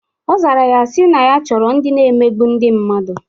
Ọ zara ya sị na ya chọrọ ndị na-emegbu ndị mmadụ.